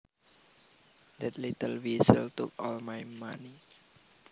That little weasel took all my money